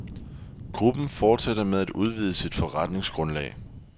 Gruppen fortsætter med at udvide sit forretningsgrundlag.